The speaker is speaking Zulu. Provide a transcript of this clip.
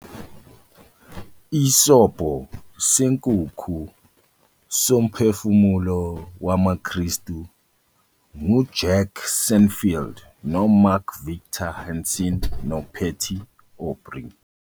Isobho Senkukhu soMphefumulo WamaKristu nguJack Canfield noMark Victor Hansen noPatty Aubery.